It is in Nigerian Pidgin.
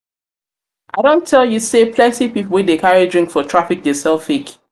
i don tell you sey plenty pipu wey dey carry drink for traffic dey sell fake.